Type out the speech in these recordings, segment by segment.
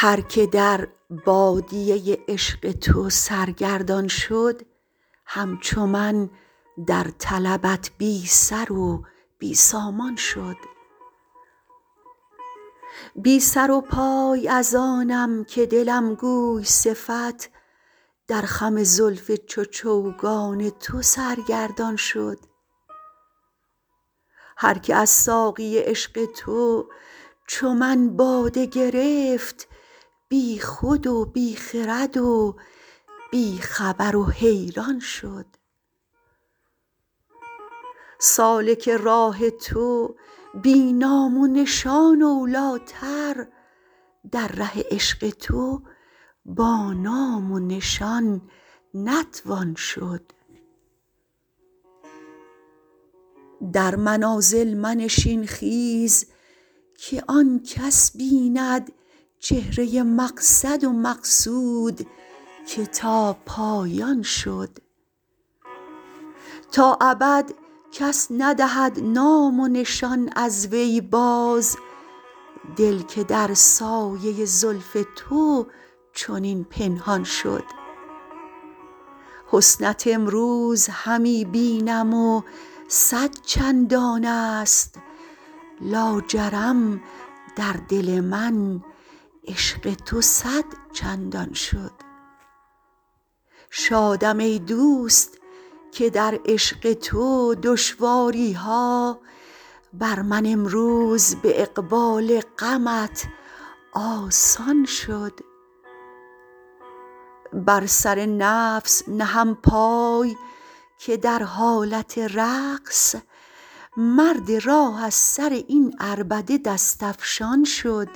هر که در بادیه عشق تو سرگردان شد همچو من در طلبت بی سر و بی سامان شد بی سر و پای از آنم که دلم گوی صفت در خم زلف چو چوگان تو سرگردان شد هر که از ساقی عشق تو چو من باده گرفت بی خود و بی خرد و بی خبر و حیران شد سالک راه تو بی نام و نشان اولیتر در ره عشق تو با نام و نشان نتوان شد در منازل منشین خیز که آن کس بیند چهره مقصد و مقصود که تا پایان شد تا ابد کس ندهد نام و نشان از وی باز دل که در سایه زلف تو چنین پنهان شد حسنت امروز همی بینم و صد چندان است لاجرم در دل من عشق تو صد چندان شد شادم ای دوست که در عشق تو دشواری ها بر من امروز به اقبال غمت آسان شد بر سر نفس نهم پای که در حالت رقص مرد راه از سر این عربده دست افشان شد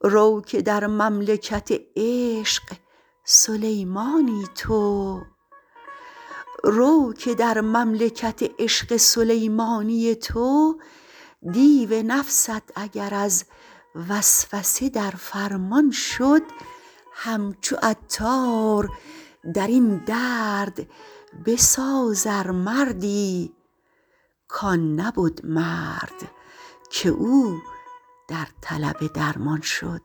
رو که در مملکت عشق سلیمانی تو دیو نفست اگر از وسوسه در فرمان شد همچو عطار درین درد بساز ار مردی کان نبد مرد که او در طلب درمان شد